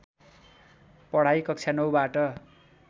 पढाइ कक्षा ९ बाट